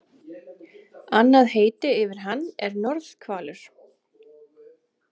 Annað heiti yfir hann er norðhvalur.